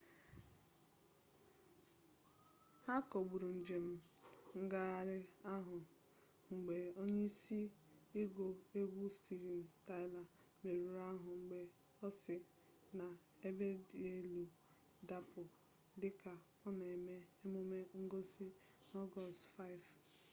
ha kagburu njem ngagharị ahụ mgbe onye isi ịgụ egwu steven tyler merụrụ ahụ mgbe ọ si n'ebedielu dapụ dị ka ọ na eme emume ngosi na ọgọst 5